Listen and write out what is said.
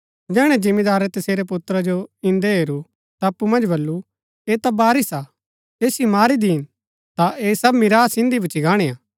जैहणै जिमीदारै तसेरै पुत्रा जो इन्दै हेरू ता अप्पु मन्ज बल्लू ऐह ता वारिस हा ऐसिओ मारी दीन ता ऐह सब मीरास इन्दी भूच्ची गाणी हा